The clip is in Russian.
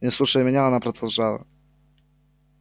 не слушая меня она продолжала